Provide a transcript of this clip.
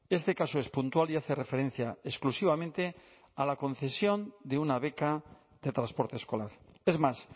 este caso es puntual y hace referencia exclusivamente a la concesión de una beca de transporte escolar es más